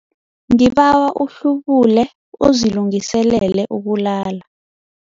Ngibawa uhlubule uzilungiselele ukulala.